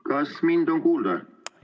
Kas mind on kuulda?